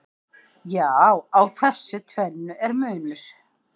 Já, á þessu tvennu er munur.